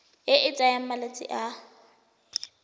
e e tsayang malatsi a